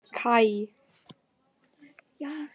Kaj